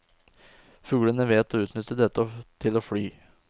Fuglene vet å utnytte dette til å fly.